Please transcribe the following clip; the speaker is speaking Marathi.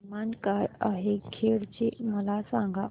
तापमान काय आहे खेड चे मला सांगा